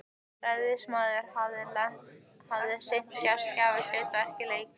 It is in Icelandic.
Ræðismaðurinn hafði sinnt gestgjafahlutverkinu af leikni.